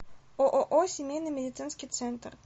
ооо семейный медицинский центр